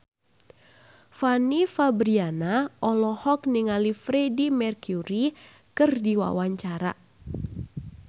Fanny Fabriana olohok ningali Freedie Mercury keur diwawancara